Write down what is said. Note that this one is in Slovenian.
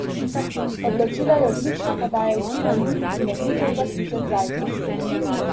Odločila je odlična podaja iz strani in odličen zaključek Zajca.